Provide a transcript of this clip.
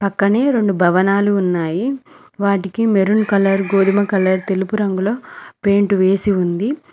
క్కనే రెండు భవనాలు ఉన్నాయి వాటికి మెరూన్ కలర్ గోధుమ కలర్ తెలుపు రంగులో పెయింట్ వేసి ఉంది.